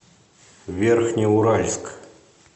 верхнеуральск